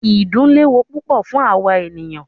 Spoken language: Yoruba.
Ìdun léwu púpọ fún àwa ènìyàn.